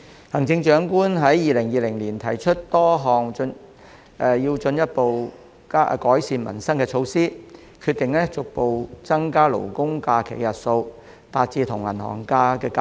行政長官在2020年提出多項進一步改善民生的措施，包括逐步增加"勞工假"的日數，使其與"銀行假"看齊。